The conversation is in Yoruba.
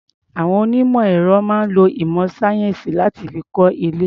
Àwon onímọ̀ ẹ̀rọ máa ń lo ìmọ̀ sáyẹ́ǹsì láti fi kọ́ ilé.